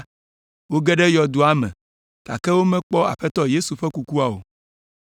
Woge ɖe yɔdoa me, gake womekpɔ Aƒetɔ Yesu ƒe kukua o.